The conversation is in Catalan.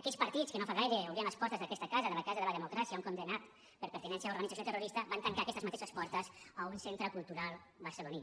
aquests partits que no fa gaire obrien les portes d’aquesta casa de la casa de la democràcia a un condemnat per pertinença a organització terrorista van tancar aquestes mateixes portes a un centre cultural barceloní